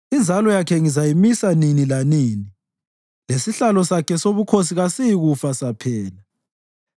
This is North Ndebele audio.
Inzalo yakhe ngizayimisa nini lanini, lesihlalo sakhe sobukhosi kasiyikufa saphela.